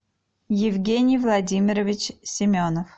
евгений владимирович семенов